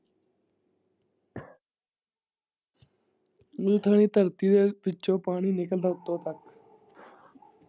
ਨੀ ਥਾਈਂ ਧਰਤੀ ਦੇ ਵਿੱਚੋਂ ਪਾਣੀ ਨਿਕਲਦਾ ਉੱਤੋਂ ਤੱਕ।